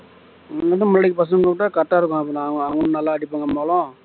நம்மோளம் அடிக்க பசங்கள விட்டா correct ஆ இருக்கும் அப்பறம் அவ~ அவங்களும் நல்லா அடிப்பாங்க மோளம்